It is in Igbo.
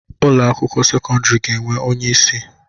Ụlọ akwụkwọ sekọndrị ga-enwe onye isi